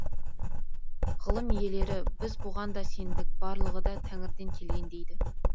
ғылым иелері біз бұған да сендік барлығы да тәңірден келген дейді